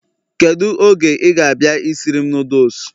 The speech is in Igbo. Kedu oge ị ga-abịa isiri m noodles?